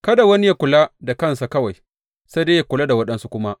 Kada wani yă kula da kansa kawai, sai dai yă kula da waɗansu kuma.